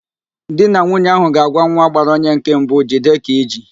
Di na nwunye ahụ ga-agwa nwa gbara onye nke mbụ, "jide ka iji"